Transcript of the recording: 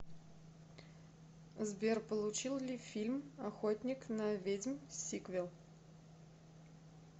сбер получил ли фильм охотник на ведьм сиквел